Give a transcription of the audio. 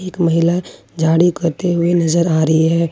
एक महिला झाड़ू करते हुए नजर आ रही है।